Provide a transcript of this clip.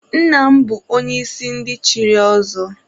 Nna m bụ onye isi ndị chiri ọzọ.